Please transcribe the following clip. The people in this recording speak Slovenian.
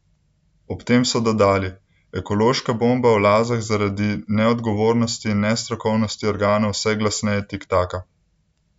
Ob tem so dodali: "Ekološka bomba v Lazah zaradi neodgovornosti in nestrokovnosti organov vse glasneje tiktaka.